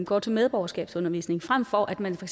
går til medborgerskabsundervisning frem for at man for